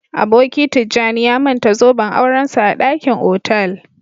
Aboki Tijjani ya manta zoben aurensa a dakin otal